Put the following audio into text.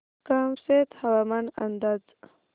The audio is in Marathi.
कामशेत हवामान अंदाज